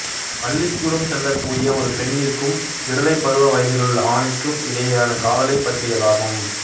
பள்ளிக்கூடம் செல்லக்கூடிய ஒரு பெண்ணிற்கும் விடலைப் பருவ வயதிலுள்ள ஆணிற்கும் இடையேயான காதலைப் பற்றியதாகும்